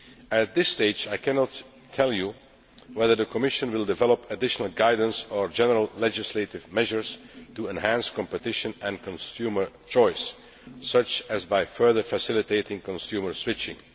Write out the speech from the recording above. At this stage, I cannot yet tell Members yet whether the Commission will develop additional guidance or general legislative measures to enhance competition and consumer choice, such as by further facilitating consumer switching.